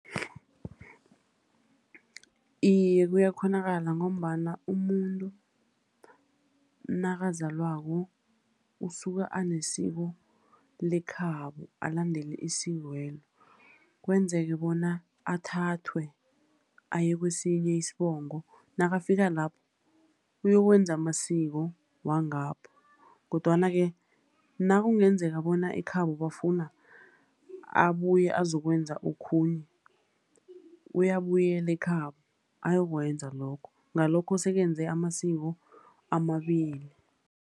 Iye, kuyakghonakala ngombana umuntu nakazalwako, usuke anesiko lekhabo, alandele isikwelo. Kwenzeke bona athathwe aye kwesinye isibongo, nakafika lapho, uyokwenza amasiko wangapho. Kodwana-ke, nakungenzeka bona ekhabo bafuna abuye azokwenza okhunye, uyabuyela ekhabo, ayokwenza lokho. Ngalokho sekenze amasiko amabili.